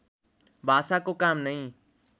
भाषाको काम नै